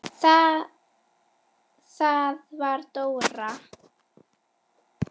Það var Dóra.